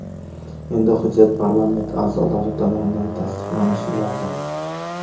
Endi hujjat parlament a’zolari tomonidan tasdiqlanishi lozim.